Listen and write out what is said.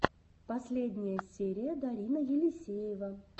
последняя серия дарина елисеева